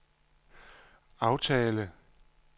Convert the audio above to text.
aftale